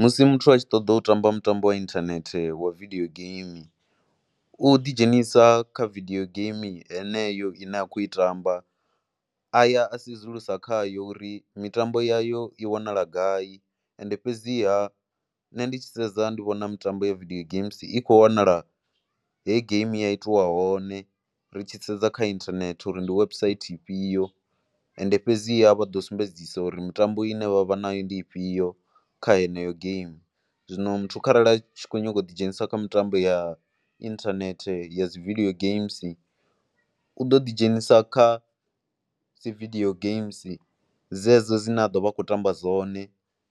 Musi muthu a tshi ṱoḓa u tamba mutambo inthanethe wa video game u ḓidzhenisa kha video game heneyo ine a khou i tamba a ya a sedzulusa kha yo uri mitambo yayo i wanala gai ende fhedziha nṋe ndi tshi sedza ndi vhona mitambo ya video games i kho wanala he game ya itiwa hone. Ri tshi sedza kha inthanethe uri ndi website ifhio and fhedziha vha ḓo sumbedzisa uri mitambo ine vha vha nayo ndi ifhio kha heneyo game. Zwino muthu kharali a tshi khou nyaga u ḓidzhenisa kha mitambo ya inthanethe ya dzi video gama u ḓo ḓidzhenisa kha dzi vidie game dzedzo dzine a ḓo vha kho tamba dzone.